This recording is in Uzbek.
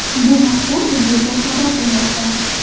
Bu haqda UzReport xabar qilmoqda .